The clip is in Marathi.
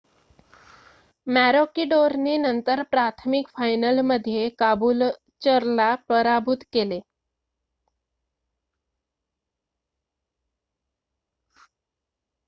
मॅरोकिडोरने नंतर प्राथमिक फायनलमध्ये काबूलचरला पराभूत केले